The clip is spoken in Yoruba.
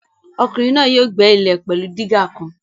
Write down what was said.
Ọkùnrin náà yóò gbẹ́ ilẹ̀ náà pẹ̀lú dígà kan